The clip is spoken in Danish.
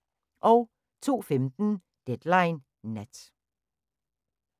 02:15: Deadline Nat